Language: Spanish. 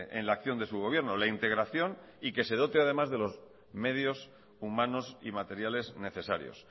en la acción de su gobierno la integración y que se dote además de los medios humanos y materiales necesarios